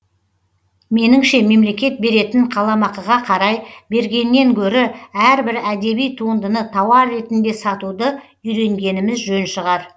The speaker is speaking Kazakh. меніңше мемлекет беретін қаламақыға қарай бергеннен гөрі әрбір әдеби туындыны тауар ретінде сатуды үйренгеніміз жөн шығар